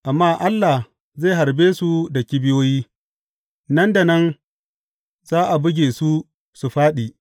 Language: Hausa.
Amma Allah zai harbe su da kibiyoyi; nan da nan za a buge su su fāɗi.